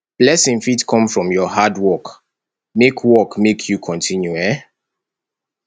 blessing fit come from your hard work make work make you continue um